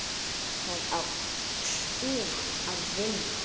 Það á sko að vinna.